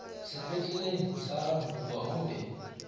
sepetleleng sa rankuwa o be